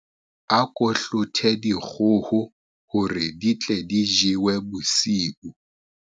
Ako hlothe dikgoho hore di tle di jowe bosiu.